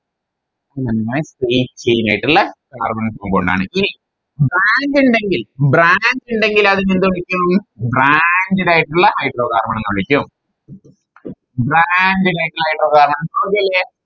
പിന്നെ Free chain ആയിട്ടുള്ള Carbon compound കൊണ്ടാണ് ഈ Branch ഇണ്ടങ്കിൽ Branch ഇണ്ടങ്കിൽ അതിനെ എന്ത് വിളിക്കും Branched ആയിട്ടുള്ള Hydrocarbon എന്ന് വിളിക്കും Branched ആയിട്ടുള്ള Branched ആയിട്ടുള്ള Hydrocarbon okay അല്ലെ